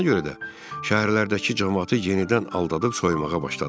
Buna görə də şəhərlərdəki camaatı yenidən aldadıb soymağa başladılar.